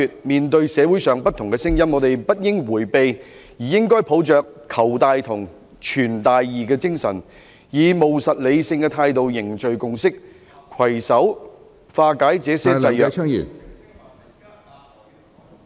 面對社會上不同的聲音，我們不應迴避，而應該抱着'求大同、存大異'的精神，以務實理性的態度凝聚共識，攜手化解這些制約......